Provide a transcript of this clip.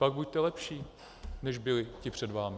Pak buďte lepší, než byli ti před vámi.